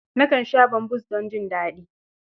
Nakan sha bambus don jin daɗi.